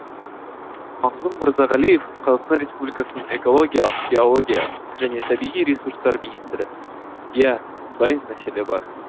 мағзұм мырзағалиев қазақстан республикасының экология геология және табиғи ресурстар министрі иә мұндай мәселе бар